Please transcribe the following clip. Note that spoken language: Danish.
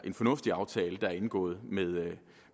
en fornuftig aftale der er indgået